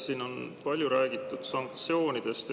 Siin on palju räägitud sanktsioonidest.